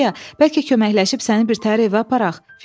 Sürəya, bəlkə köməkləşib səni bir təhər evə aparaq?